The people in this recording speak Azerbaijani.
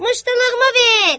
ver muştuluğuma ver!